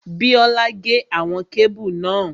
Bíọ́lá gé àwọn kébù náà